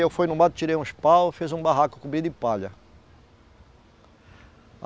Eu fui no mato, tirei uns pau, fiz um barraco cobri de palha.